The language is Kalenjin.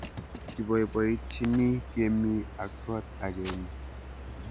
Kibaibaitynchini kemi ak kot agenge